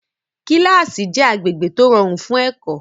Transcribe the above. Kílásì jẹ́ agbègbè tó rọrùn fún ẹ̀kọ́